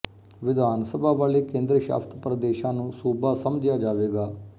ਵਿਧਾਨ ਸਭਾ ਵਾਲੇ ਕੇਂਦਰ ਸ਼ਾਸਤ ਪ੍ਰਦੇਸ਼ਾਂ ਨੂੰ ਸੂਬਾ ਸਮਝਿਆਂ ਜਾਵੇਗਾ